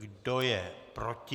Kdo je proti?